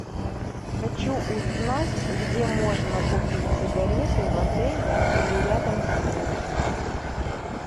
хочу узнать где можно купить сигареты в отеле или рядом с ним